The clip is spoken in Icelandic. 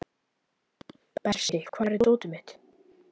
Bersi, hvar er dótið mitt?